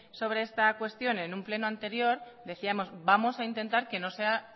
sobre esta cuestión en un pleno anterior decíamos vamos a intentar que no sea